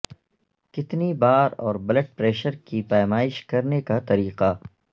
کتنی بار اور بلڈ پریشر کی پیمائش کرنے کا طریقہ